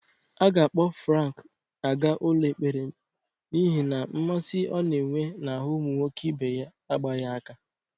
A ga-akpọ Frank aga ụlọ ekpere n'ihe na mmasị ọ na-enwe n'ahụ ụmụ nwoke ibe ya agbaghị aka.